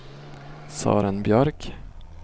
Sören Björk